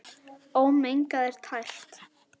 Ómengað er það tært.